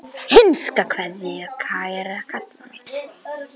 HINSTA KVEÐJA Kæra Kalla mín.